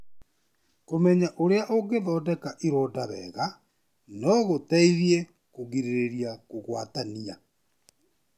Kũmenya ũrĩa ũngĩthondeka ironda wega no gũteithie kũgirĩrĩrie kũgwatania.